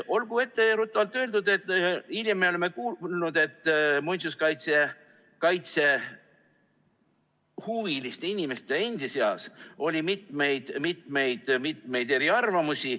Olgu etteruttavalt öeldud, et hiljem me oleme kuulnud, et muinsuskaitsehuviliste inimeste endi seas oli mitmeid-mitmeid-mitmeid eriarvamusi.